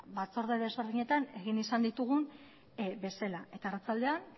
batzorde desberdinetan egin izan ditugun bezala eta arratsaldean